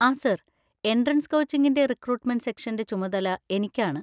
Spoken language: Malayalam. ആ സാർ, എൻട്രൻസ് കോച്ചിങ്ങിൻ്റെ റിക്രൂട്ട്മെന്‍റ് സെക്ഷൻ്റെ ചുമതല എനിക്കാണ്.